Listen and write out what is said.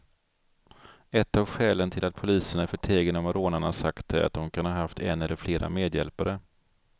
Ett av skälen till att polisen är förtegen om vad rånarna sagt är att de kan ha haft en eller flera medhjälpare.